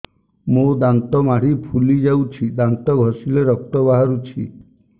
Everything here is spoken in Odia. ମୋ ଦାନ୍ତ ମାଢି ଫୁଲି ଯାଉଛି ଦାନ୍ତ ଘଷିଲେ ରକ୍ତ ବାହାରୁଛି